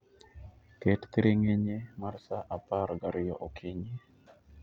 Ket thiring'inyi mar saa apar gariyo okinyi